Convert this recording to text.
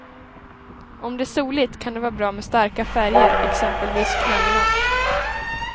Om det är soligt kan det vara bra med starka färger exempelvis knallorange.